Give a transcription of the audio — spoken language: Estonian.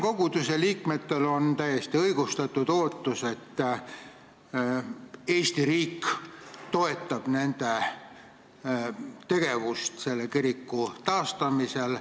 Koguduse liikmetel on usutavasti täiesti õigustatud ootus, et Eesti riik toetab nende tegevust selle kiriku taastamisel.